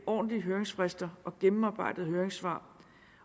ordentlige høringsfrister og nogle gennemarbejdede høringssvar